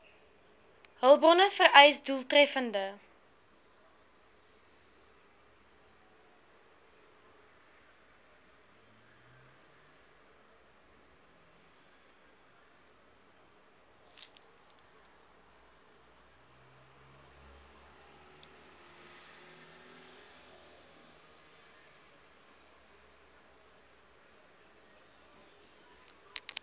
hulpbronne vereis doeltreffende